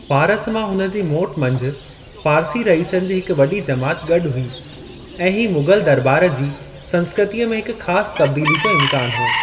फारस मां हुन जी मोट मंझि फ़ारसी रईसनि जी हिक वॾी जमात गॾु हुई ऐं हीउ मुग़ल दरॿार जी संस्कृतीअ में हिक ख़ासि तब्दीली जो इम्कानु हो।